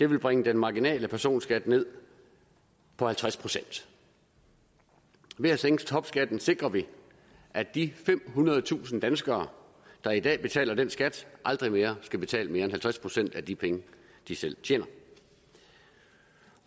vil bringe den marginale personskat ned på halvtreds procent ved at sænke topskatten sikrer vi at de femhundredetusind danskere der i dag betaler den skat aldrig mere skal betale mere end halvtreds procent af de penge de selv tjener